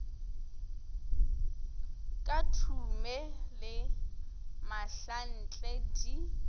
ka thume le mahlanhle di